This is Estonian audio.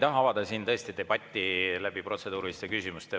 Ma ei taha siin tõesti avada debatti protseduuriliste küsimustega.